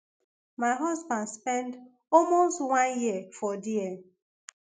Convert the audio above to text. my husband spend almost one year for dia